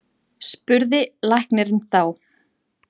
spurði læknirinn þá.